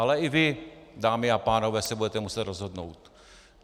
Ale i vy, dámy a pánové, se budete muset rozhodnout.